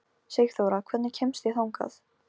Sigþóra, hvernig kemst ég þangað?